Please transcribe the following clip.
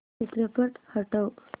चित्रपट हटव